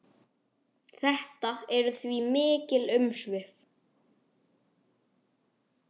Þetta eru því mikil umsvif.